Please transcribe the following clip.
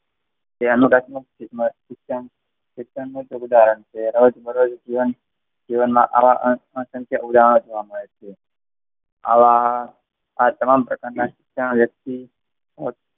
શિક્ષણ નું ઉદાહરણ છે. રોજ-બરોજ એ જીવન, જીવનમાં આવા અસંખ્ય ઉદાહરણો જોવા મળે છે. આવા આ તમામ પ્રકારના શિક્ષકોએ .